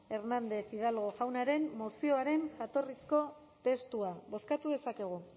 hernández hidalgo jaunaren mozioaren jatorrizko testua bozkatu dezakegu